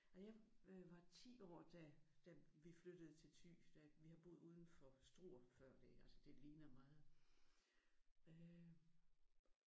Og jeg var 10 år da da vi flyttede til Thy da vi havde boet udenfor Struer før det altså det ligner meget øh